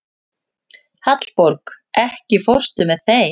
Hallborg, ekki fórstu með þeim?